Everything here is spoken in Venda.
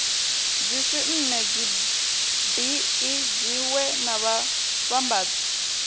dzismme dzibee dziwee na vhavhambadzi